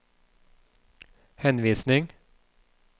henvisning